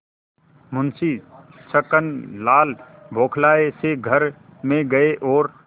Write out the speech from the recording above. मुंशी छक्कनलाल बौखलाये से घर में गये और